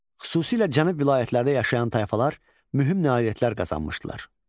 Xüsusilə cənub vilayətlərində yaşayan tayfalar mühüm nailiyyətlər qazanmışdılar.